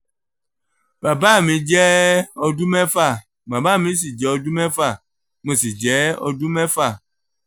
bàbá mi jẹ́ ọdún mẹ́fà màmá mi sì jẹ́ ọdún mẹ́fà mo sì jẹ́ ọdún mẹ́fà